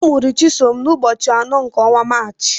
Amụrụ Chisom n'ụbọchị anọ nke ọnwa Maachị.